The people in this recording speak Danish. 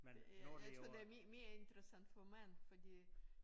Jeg jeg tror det er mere interessant for mænd fordi